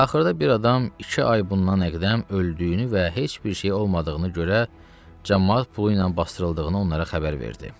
Axırda bir adam iki ay bundan əqdəm öldüyünü və heç bir şey olmadığını görə camaat pulu ilə basdırıldığını onlara xəbər verdi.